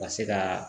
U ka se ka